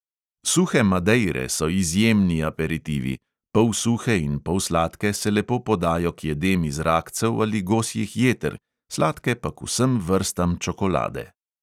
Suhe madeire so izjemni aperitivi, polsuhe in polsladke se lepo podajo k jedem iz rakcev ali gosjih jeter, sladke pa k vsem vrstam čokolade.